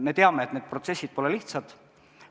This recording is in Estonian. Me teame, et need protsessid pole lihtsad.